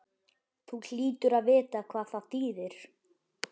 Þú hlýtur að vita hvað það þýðir?